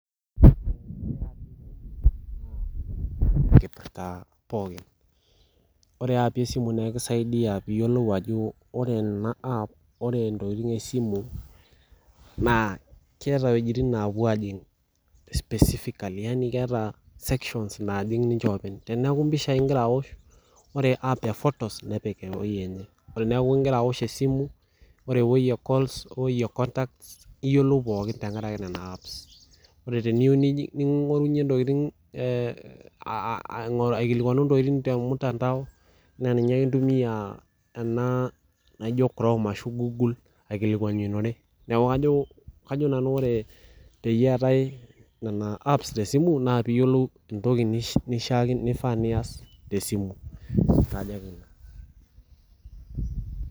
Enkipirta pookin , ore eaapi esimu esimu naa ekisaidia piyiolou ajo ore enaapp , ore ntokitin esimu naa keeta wuejitin naapuo ajing specifically yani keeta sections najing ninche openy , teniaku impishai ingira aosh, ore app ephotos nepiki ewuei enye, teniaku ingira aash esimu , ore ewuei ecalls weui econtacts , niyilou pookin tenkaraki nena apps , ore teniyieu ningorunyie ntokitin aa aingoru , aikilikwanu ntokitin temtandao naa ninye ake intumia ena naijo chrome ashu google aikilikwanishore , niaku kajo , kajo nanu ore peetae nena apps esimu naa piyiolou entoki nishaakino , nifaa nias tesimu